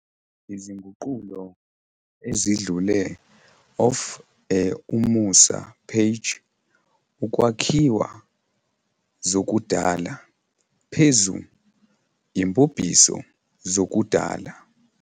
izinguqulo ezidlule of a umusa page "ukwakhiwa zokudala" phezu "imbubhiso zokudala".